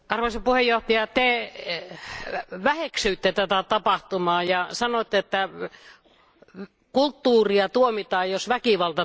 Te väheksyitte tätä tapahtumaa ja sanoitte, että kulttuuria tuomitaan, jos väkivalta tuomitaan.